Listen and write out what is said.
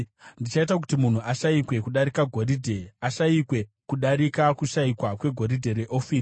Ndichaita kuti munhu ashayikwe kudarika goridhe, ashayikwe kudarika kushayikwa kwegoridhe reOfiri.